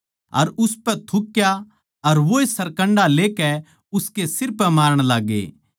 अर उसपै थुक्या अर वोए सरकण्डा लेकै उसकै सिर पै मारण लाग्गे